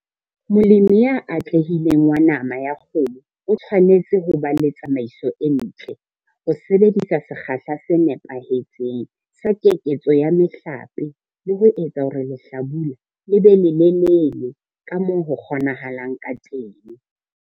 Molemi ya atlehileng wa nama ya kgomo o tshwanetse ho ba le tsamaiso e ntle, ho sebedisa sekgahla se nepahetseng sa keketso ya mehlape, le ho etsa hore lehlabula le be lelelele ka moo ho kgonahalang ka teng!